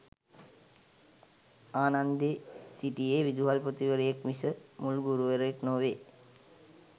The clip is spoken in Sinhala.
ආනන්දේ සිටියේ විදුහල්පතිවරයෙක් මිස මුල් ගුරුවරයෙක් නොවේ.